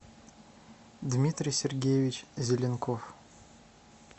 дмитрий сергеевич зеленков